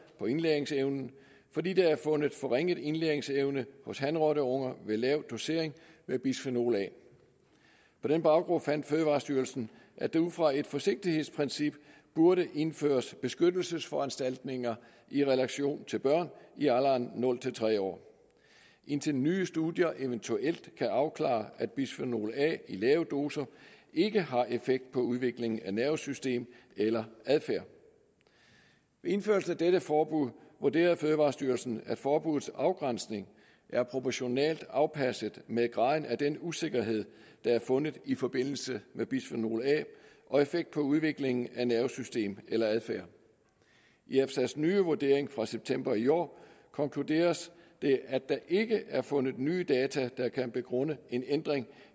på indlæringsevnen fordi der er fundet forringet indlæringsevne hos hanrotteunger ved lav dosering med bisfenol a på den baggrund fandt fødevarestyrelsen at der ud fra et forsigtighedsprincip burde indføres beskyttelsesforanstaltninger i relation til børn i alderen nul tre år indtil nye studier eventuelt kan afklare at bisfenol a i lave doser ikke har effekt på udviklingen af nervesystem eller adfærd ved indførelsen af dette forbud vurderede fødevarestyrelsen at forbuddets afgrænsning er proportionalt afpasset med graden af den usikkerhed der er fundet i forbindelse med bisfenol a og effekt på udviklingen af nervesystem eller adfærd i efsa’s nye vurdering fra september i år konkluderes det at der ikke er fundet nye data der kan begrunde en ændring